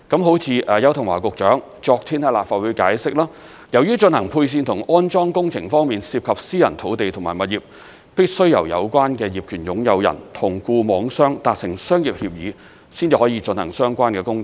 正如邱騰華局長昨天在立法會解釋，由於進行配線和安裝工程方面涉及私人土地及物業，必須由有關的業權擁有人與固網商達成商業協議，才可進行相關的工程。